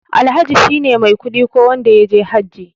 Alhaji shine mai kuɗi ko wanda yaje hajji.